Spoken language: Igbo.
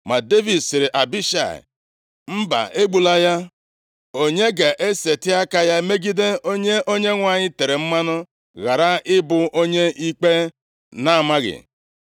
Ma Devid sịrị Abishai, “Mba egbula ya. Onye ga-eseti aka ya megide onye Onyenwe anyị tere mmanụ, ghara ị bụ onye ikpe na-amaghị?”